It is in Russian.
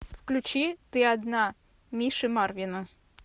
включи ты одна миши марвина